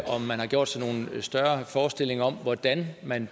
om man har gjort sig nogen større forestillinger om hvordan man